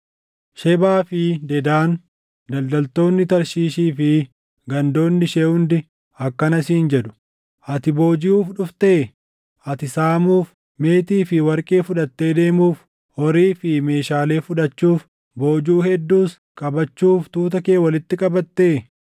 Shebaa fi Dedaan, daldaltoonni Tarshiishii fi gandoonni ishee hundi akkana siin jedhu; “Ati boojiʼuuf dhuftee? Ati saamuuf, meetii fi warqee fudhattee deemuuf, horii fi meeshaalee fudhachuuf, boojuu hedduus qabachuuf tuuta kee walitti qabattee?” ’